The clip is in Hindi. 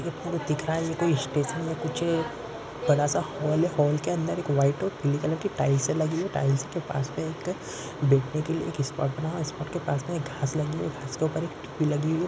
ये दिख रहा है ये कोई स्टेशन या कुछ बड़ा सा हॉल है हॉल के अंदर एक व्हाइट और पीले कलर की टाइल्स लगी है। टाइल्स के पास मे एक बैठ ने के लिए एक स्पोट बना हुवा है। स्पोट के पास मे घास लगी हुई है। घास के ऊपर एक